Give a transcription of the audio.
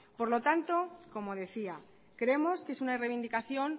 por lo tanto como decía creemos que es una reivindicación